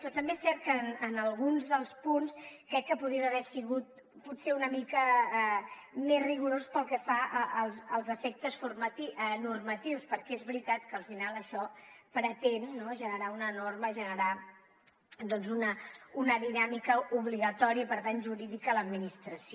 però també és cert que en alguns dels punts crec que podria haver sigut potser una mica més rigorós pel que fa als efectes normatius perquè és veritat que al final això pretén no generar una norma generar doncs una dinàmica obligatòria i per tant jurídica a l’administració